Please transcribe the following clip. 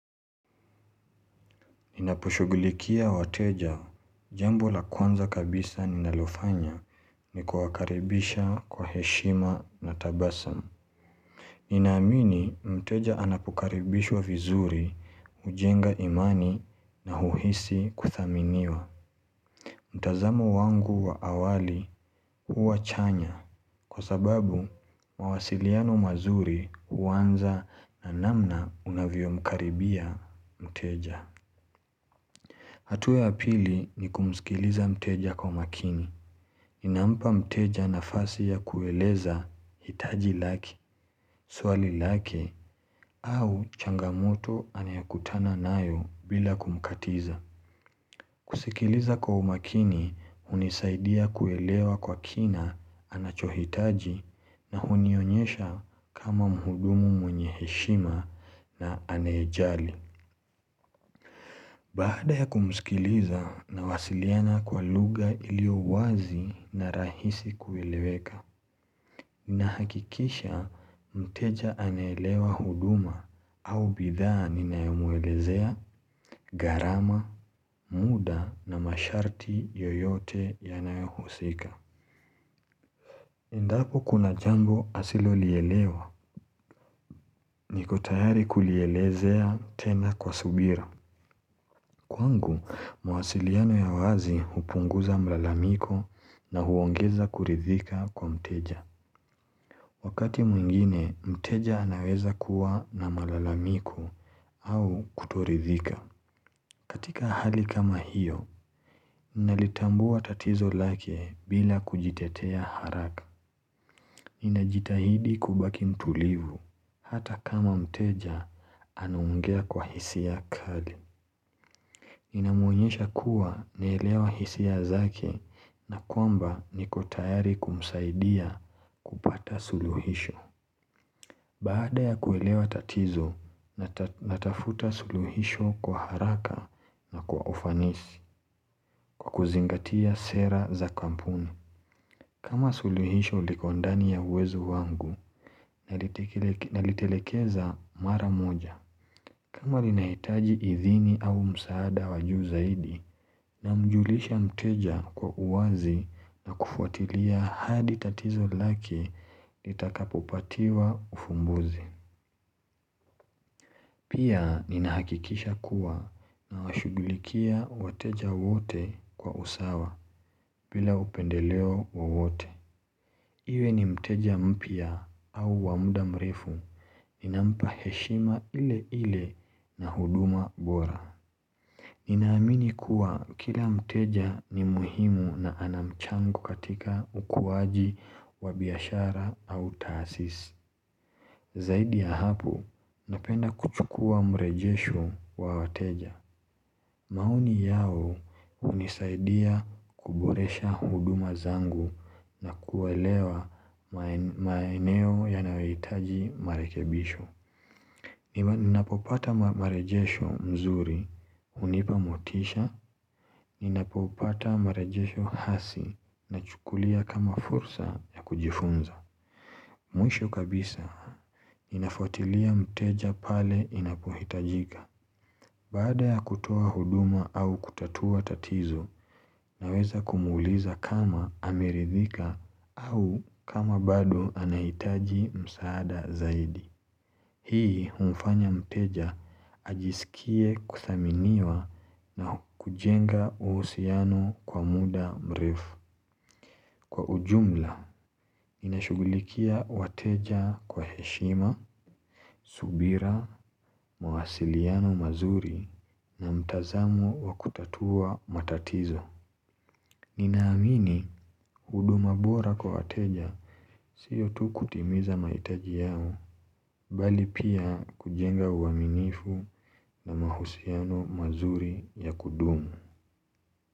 Ninapushugulikia wateja jambu la kwanza kabisa ninalofanya ni kuwa karibisha kwa heshima na tabasamu. Ninamini mteja anapukaribishwa vizuri, hujenga imani na huhisi kuthaminiwa. Mtazamo wangu wa awali huwachanya kwa sababu mawasiliano mazuri huwanza na namna unavyo mkaribia mteja. Hatua ya pili ni kumusikiliza mteja kwa makini. Inampa mteja nafasi ya kueleza hitaji laki, swali laki, au changamoto anayokutana nayo bila kumkatiza. Kusikiliza kwa makini, hunisaidia kuelewa kwa kina anachohitaji na hunionyesha kama muhudumu mwenye heshima na anyejali. Baada ya kumusikiliza na wasiliana kwa lugha iliowazi na rahisi kueleweka. Nahakikisha mteja aneelewa huduma au bidhaa ninayomwelezea, garama, muda na masharti yoyote yanayohusika. Endapo kuna jambo asilo lielewa nikotayari kulielezea tena kwa subira. Kwangu, mwasiliano ya wazi hupunguza mlalamiko na huongeza kuridhika kwa mteja. Wakati mwingine, mteja anaweza kuwa na mlalamiko au kutoridhika. Katika hali kama hiyo, nalitambua tatizo lake bila kujitetea haraka. Ninajitahidi kubaki mtulivu, hata kama mteja anaongea kwa hisia kali. Inamonyesha kuwa naelewa hisia zake na kwamba nikotayari kumsaidia kupata suluhisho Baada ya kuelewa tatizo, natafuta suluhisho kwa haraka na kwa ufanisi kwa kuzingatia sera za kampuni kama suluhisho likondani ya wezu wangu, nalitelekeza mara moja kama linahitaji idhini au msaada wajuu zaidi na mjulisha mteja kwa uwazi na kufuatilia hadi tatizo lake litakapopatiwa ufumbuzi. Pia ninahakikisha kuwa na washugulikia wateja wote kwa usawa bila upendeleo wote. Iwe ni mteja mpia au wamuda mrefu ninampa heshima ile ile na huduma bora. Ninaamini kuwa kila mteja ni muhimu na anamchango katika ukuwaji wa biashara au taasisi Zaidi ya hapo, napenda kuchukua mrejesho wa wateja maoni yao hunisaidia kuboresha huduma zangu na kuelewa maeneo ya nayohitaji marekebisho Ninapopata marejesho mzuri hunipamotisha Ninapopata marejesho hasi na chukulia kama fursa ya kujifunza Mwisho kabisa ninafuatilia mteja pale inapohitajika Bada ya kutoa huduma au kutatua tatizo na weza kumuuliza kama amiridhika au kama bado anahitaji msaada zaidi Hii humfanya mteja ajisikie kuthaminiwa na kujenga uhusiano kwa muda mrefu Kwa ujumla, inashugulikia wateja kwa heshima, subira, mwasiliano mazuri na mtazamo wakutatua matatizo Ninaamini hudumu bora kwa wateja siyotu kutimiza mahitaji yao Bali pia kujenga uwaminifu na mahusiano mazuri ya kudumu.